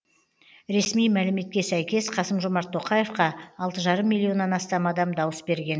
ресми мәліметке сәйкес қасым жомарт тоқаевқа алты жарым миллионнан астам адам дауыс берген